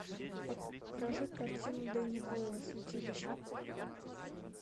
покажи картину дэнни бойла святилище